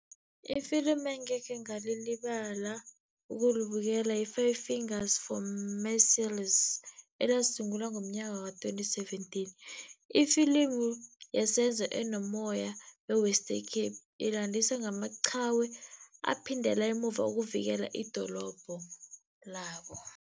Ifilimu engekhe ngalilibala ukulibukela i-Five Fingers for Marseilles, elasungulwa ngomnyaka ka-twenty seventeen. Ifilimu yesenzo enomoya we-Western Cape, ilandisa ngamachawe aphindela emuva ukuvikela idorobho labo.